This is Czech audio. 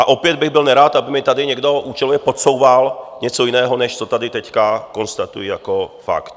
A opět bych byl nerad, aby mi tady někdo účelově podsouval něco jiného, než co tady teď konstatuji jako fakt.